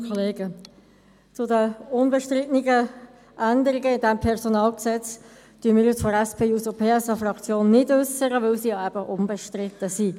Zu den unbestrittenen Änderungen in diesem PG äussern wir uns seitens der SP-JUSO-PSA-Fraktion nicht, weil sie eben unbestritten sind.